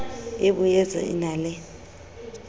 e boetsa e na le